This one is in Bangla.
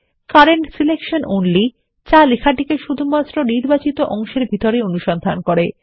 কারেন্ট সিলেকশন অনলি যা লেখাটিকে শুধু নির্বাচিত অংশের ভিতরেই অনুসন্ধান করে